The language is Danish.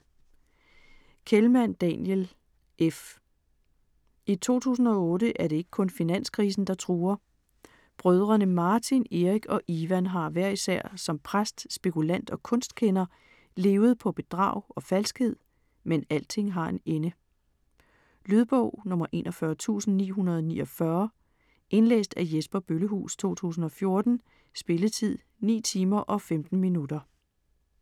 Kehlmann, Daniel: F I 2008 er det ikke kun finanskrisen, der truer. Brødrene Martin, Eric og Iwan har hver især som præst, spekulant og kunstkender levet på bedrag og falskhed, men alting har en ende. Lydbog 41949 Indlæst af Jesper Bøllehuus, 2014. Spilletid: 9 timer, 15 minutter.